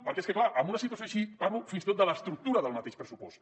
perquè és clar en una situació així parlo fins i tot de l’estructura del mateix pressupost